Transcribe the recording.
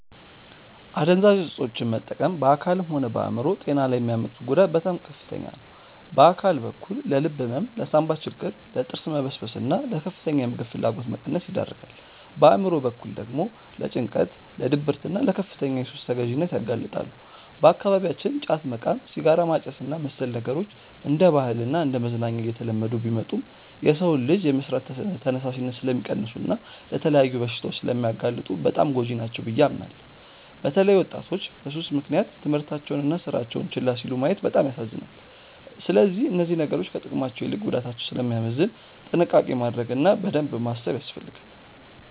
አደንዛዥ እፆችን መጠቀም በአካልም ሆነ በአእምሮ ጤና ላይ የሚያመጡት ጉዳት በጣም ከፍተኛ ነው። በአካል በኩል ለልብ ህመም፣ ለሳንባ ችግር፣ ለጥርስ መበስበስና ለከፍተኛ የምግብ ፍላጎት መቀነስ ይዳርጋል። በአእምሮ በኩል ደግሞ ለጭንቀት፣ ለድብርትና ለከፍተኛ የሱስ ተገዢነት ያጋልጣሉ። በአካባቢያችን ጫት መቃም፣ ሲጋራ ማጨስና መሰል ነገሮች እንደ ባህልና እንደ መዝናኛ እየተለመዱ ቢመጡም፣ የሰውን ልጅ የመስራት ተነሳሽነት ስለሚቀንሱና ለተለያዩ በሽታዎች ስለሚያጋልጡ በጣም ጎጂ ናቸው ብዬ አምናለሁ። በተለይ ወጣቶች በሱስ ምክንያት ትምህርታቸውንና ስራቸውን ችላ ሲሉ ማየት በጣም ያሳዝናል። ስለዚህ እነዚህ ነገሮች ከጥቅማቸው ይልቅ ጉዳታቸው ስለሚያመዝን ጥንቃቄ ማድረግ እና በደንብ ማሰብ ያስፈልጋል።